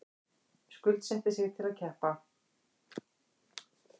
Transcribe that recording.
Skuldsetti sig til að keppa